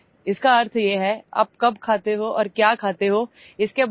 This means that you have to be very careful about when you eat and what you eat